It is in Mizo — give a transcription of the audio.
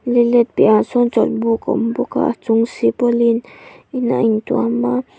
lei let piahah sawn chawlhbuk a awm bawk a a chung silpauline in a in tuam a.